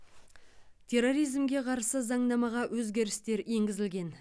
терроризмге қарсы заңнамаға өзгерістер енгізілген